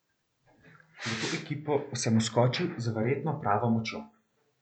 V to ekipo sem vskočil z verjetno pravo močjo.